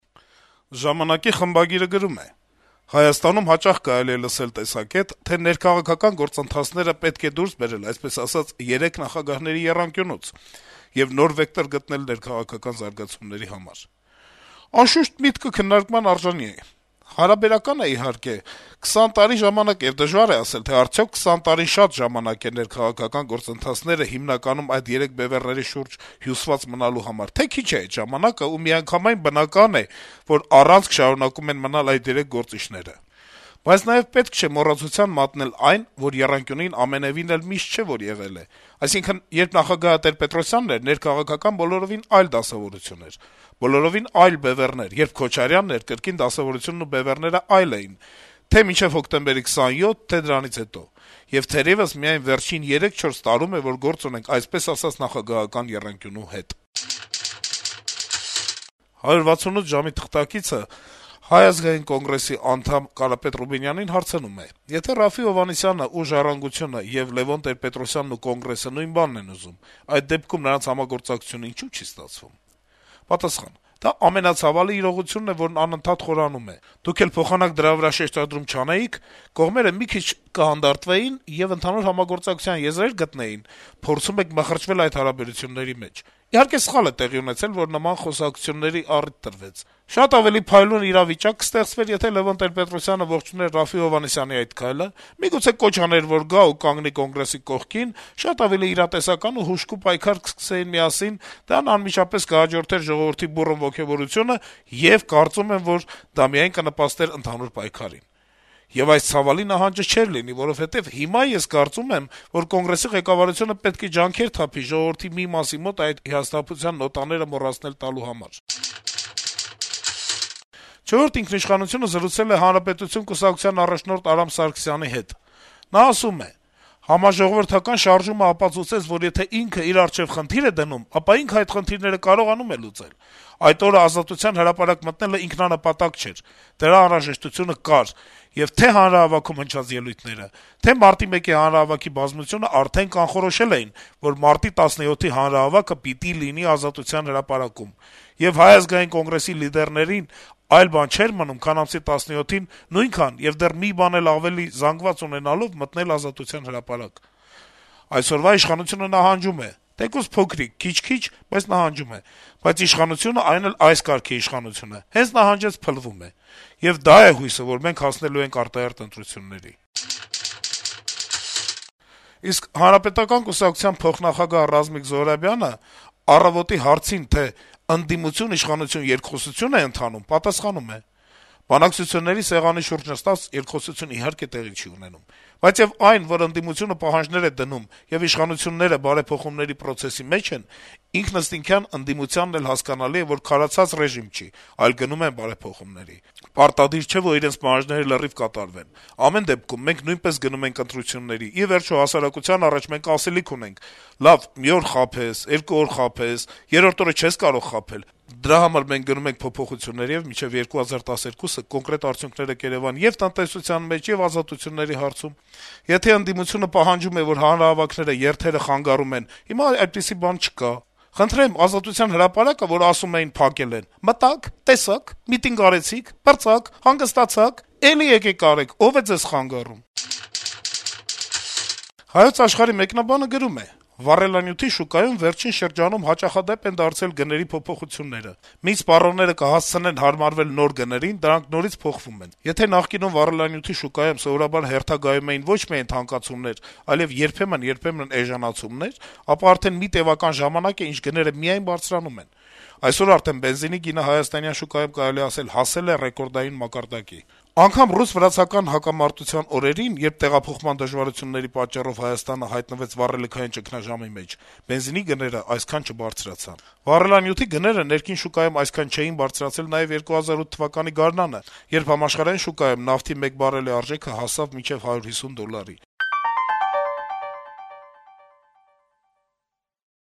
«Ժամանակ»-ի խմբագիրը գրում է. - «Հայաստանում հաճախ կարելի է լսել տեսակետ, թե ներքաղաքական գործընթացները պետք է դուրս բերել, այսպես ասած, երեք նախագահների եռանկյունուց եւ նոր վեկտոր գտնել ներքաղաքական զարգացումների համար: Անշուշտ, միտքը քննարկման արժանի է: Հարաբերական է, իհարկե, 20 տարի ժամանակը, եւ դժվար է ասել` արդյո՞ք 20 տարին շատ ժամանակ է ներքաղաքական գործընթացները հիմնականում այդ երեք բեւեռների շուրջ հյուսված մնալու համար, թե՞ քիչ է այդ ժամանակը ու միանգամայն բնական է, որ առանցք շարունակում են մնալ այդ երեք գործիչները: Բայց նաեւ պետք չէ մոռացության մատնել այն, որ եռանկյունին ամենեւին էլ միշտ չէ, որ եղել է: Այսինքն` երբ նախագահը Տեր-Պետրոսյանն էր, ներքաղաքական բոլորովին այլ դասավորություն էր, բոլորովին այլ բեւեռներ, երբ Քոչարյանն էր, կրկին դասավորությունն ու բեւեռները այլ էին` թե՛ մինչև հոկտեմբերի 27, թե՛ դրանից հետո»: «168 ժամ»-ի թղթակիցը Հայ ազգային կոնգրեսի անդամ Կարապետ Ռուբինյանին հարցնում է. - «Եթե Րաֆֆի Հովհաննիսյանը ու «Ժառանգություն»-ը եւ Լեւոն Տեր-Պետրոսյանը ու Կոնգրեսը նույն բանն են ուզում, այդ դեպքում նրանց համագործակցությունն ինչո՞ւ չի ստացվում»: Ռուբինյանը պատասխանում է. - «Դա ամենացավալի իրողությունն է, որ անընդհատ խորանում է: Դուք էլ փոխանակ դրա վրա շեշտադրում չանեիք, կողմերը մի քիչ հանդարտվեին եւ ընդհանուր համագործակցության եզրեր գտնեին` փորձում եք մխրճվել այդ հարաբերությունների մեջ: Իհարկե, սխալ է տեղի ունեցել, որ նման խոսակցությունների առիթ տրվեց: Շատ ավելի փայլուն իրավիճակ կստեղծվեր, եթե Լեւոն Տեր-Պետրոսյանը ողջուներ Րաֆֆի Հովհաննիսյանի այդ քայլը, միգուցե կոչ աներ, որ գա ու կանգնի Կոնգրեսի կողքին, շատ ավելի իրատեսական ու հուժկու պայքար կսկսեին միասին, դրան անմիջապես կհաջորդեր ժողովրդի բուռն ոգեւորությունը, եւ, կարծում եմ, որ դա միայն կնպաստեր ընդհանուր պայքարին: Եվ այս ցավալի նահանջը չէր լինի, որովհետեւ հիմա ես կարծում եմ, որ Կոնգրեսի ղեկավարությունը պետք է ջանքեր թափի ժողովդրի մի մասի մոտ այդ հիասթափության նոտաները մոռացնել տալու համար»: «Չորրորդ ինքնիշխանություն»-ը զրուցել է «Հանրապետություն» կուսակցության առաջնորդ Արամ Սարգսյանի հետ: Նա ասում է. - «Համաժողովրդական շարժումը ապացուցեց, որ եթե ինքը իր առջեւ խնդիր է դնում, ապա ինքը այդ խնդիրները կարողանում է լուծել: Այդ օրը Ազատության հրապարակ մտնելը ինքնանպատակ չէր: Դրա անհրաժեշտությունը կար, եւ թե' հանրահավաքում հնչած ելույթները, թե' մարտի 1-ի հանրահավաքի բազնությունը արդեն կանխորոշել էին, որ մարտի 17-ի հանրահավաքը պիտի լինի Ազատության հրապարակում: Եվ Հայ ազգային կոնգրեսի լիդերներին այլ բան չէր մնում, քան ամսի 17-ին նույնքան եւ դեռ մի բան էլ ավելի զանգված ունենալով` մտնել Ազատության հրապարակ: Այսօրվա իշխանությունը նահանջում է` թեկուզ փոքրիկ, քիչ-քիչ, բայց նահանջում է: Բայց իշխանությունը, այն էլ` այս կարգի իշխանությունը, հենց նահանջեց` փլվում է: Եվ դա է հույսը, որ մենք հասնելու ենք արտահերթ ընտրությունների»: Իսկ Հանրապետական կուսակցության փոխնախագահ Ռազմիկ Զոհրաբյանը «Առավոտ»-ի հարցին, թե ընթանո՞ւմ է արդյոք ընդդիմություն – իշխանություն երկխոսություն, պատասխանել է. - «Բանակցությունների սեղանի շուրջ նստած երկխոսություն, իհարկե, տեղի չի ունենում: Բայց այն, որ ընդդիմությունը պահանջներ է դնում, եւ իշխանությունները բարեփոխումների պրոցեսի մեջ են, ինքնըստինքյան ընդդիմությանն էլ հասկանալի է, որ քարացած ռեժիմ չի, այլ գնում են բարեփոխումների: Պարտադիր չէ, որ իրենց պահանջները լրիվ կատարվեն: Ամեն դեպքում, մենք նույնպես գնում ենք ընտրությունների, ի վերջո, հասարակության առաջ մենք ասելիք ունենք, լավ, մի օր խաբես, երկու օր խաբես, երրորդ օրը չես կարող խաբել, դրա համար մենք գնում ենք փոփոխությունների, եւ մինչեւ 2012-ը կոնկրետ արդյունքները կերեւան ե'ւ տնտեսության մեջ, ե'ւ ազատությունների հարցում: Եթե ընդդիմությունը պահանջում է, որ հանրահավաքները, երթերը խանգարում են, հիմա այդպիսի բան չկա, խնդրեմ, Ազատության հրապարակը, որ ասում էին, փակել են, մտա՞ք, տեսա՞ք, միտինգ արեցի՞ք, պրծաք, հանգստացա՞ք: Էլի եկեք արեք, ո՞վ է ձեզ խանգարում»: «Հայոց Աշխարհ»-ի մեկնաբանը գրում է. -« Վառելանյութի շուկայում վերջին շրջանում հաճախադեպ են դարձել գների փոփոխությունները։ Մինչ սպառողները կհասցնեն հարմարվել նոր գներին, դրանք նորից փոխվում են։ Եթե նախկինում վառելանյութի շուկայում սովորաբար հերթագայում էին ոչ միայն թանկացումներ, այլեւ երբեմն-երբեմն էժանացումներ, ապա արդեն մի տեւական ժամանակ է, ինչ գները միայն բարձրանում են։ Այսօր արդեն բենզինի գինը հայաստանյան շուկայում, կարելի է ասել, հասել է ռեկորդային մակարդակի։ Անգամ ռուս-վրացական ռազմական հակամարտության օրերին, երբ տեղափոխման դժվարությունների պատճառով Հայաստանը հայտնվեց վառելիքային ճգնաժամի մեջ, բենզինի գներն այդքան չբարձրացան։ Վառելանյութի գները ներքին շուկայում այսքան չէին բարձրացել նաեւ 2008թ. գարնանը, երբ համաշխարհային շուկայում նավթի մեկ բարելի արժեքը հասավ մինչեւ 150 դոլարի»։